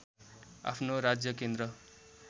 आफ्नो राज्यकेन्द्र